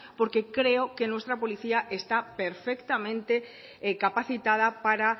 porque creo que nuestra policía está perfectamente capacitada para